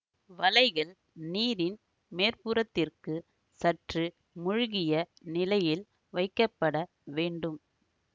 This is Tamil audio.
வலைகள் நீரின் மேற்புறத்திற்கு சற்று மூழ்கிய நிலையில் வைக்கப்பட வேண்டும்